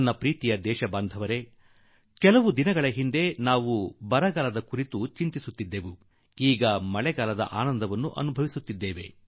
ನನ್ನೊಲವಿನ ದೇಶವಾಸಿಗಳೇ ಸ್ವಲ್ಪ ಸಮಯದ ಹಿಂದೆ ನಾವು ಬರಗಾಲದ ಚಿಂತೆಯಲ್ಲಿ ಇದ್ದೆವು ಮತ್ತು ಈಗ ಕೆಲವು ದಿಗಳಿಂದ ಮಳೆಯ ಆನಂದವೂ ಉಂಟಾಗುತ್ತಿದೆ